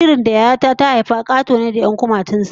Jaririn da Yaya ta ta haifa Kato ne da 'yan kumatun sa